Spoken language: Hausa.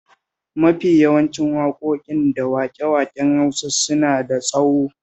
Mafi yawancin waƙoƙi da waƙe-waƙen Hausa suna da tsaho